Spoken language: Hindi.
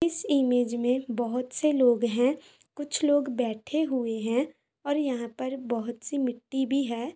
इस इमेज मे बहुत से लोग है कुछ लोग बैठे हुए है और यहां पर बहुत सी मिट्टी भी है।